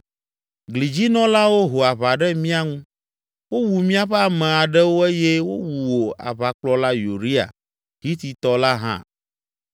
Glidzinɔlawo ho aʋa ɖe mía ŋu, wowu míaƒe ame aɖewo eye wowu wò aʋakplɔla Uria, Hititɔ la, hã.”